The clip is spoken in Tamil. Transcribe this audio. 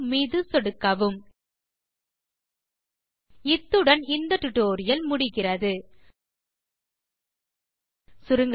சேவ் மீது சொடுக்கவும் இத்துடன் டுடோரியலின் இறுதிக்கு வந்துவிட்டோம்